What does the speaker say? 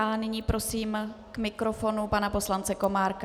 A nyní prosím k mikrofonu pana poslance Komárka.